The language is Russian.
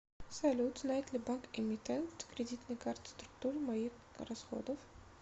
салют знает ли банк эмитент кредитной карты структуру моих расходов